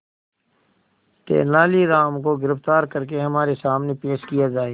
तेनालीराम को गिरफ्तार करके हमारे सामने पेश किया जाए